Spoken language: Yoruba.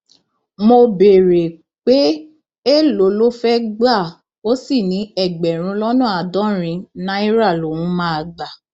mo béèrè pé èèlò ló fẹẹ gbà ó sì ní ẹgbẹrún lọnà àádọrin náírà lòún máa gbà